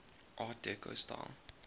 art deco style